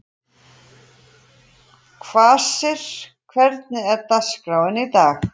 Kvasir, hvernig er dagskráin í dag?